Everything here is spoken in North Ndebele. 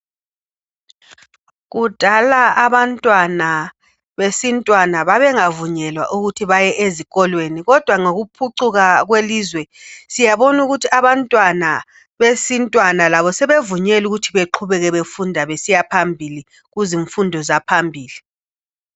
Kudala abantwana besintwana babengavunyelwa ukuthi baye ezikolweni kodwa ngokuphucukwa kwelizwe siyabona ukuthi abantwana besintwana labo sebevunyelwa ukuthi beqhubeke befunda besiya phambili kuzimfundo zaphambili.